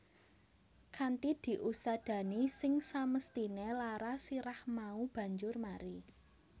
Kanthi diusadani sing samesthine lara sirah mau banjur mari